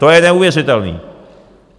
To je neuvěřitelné.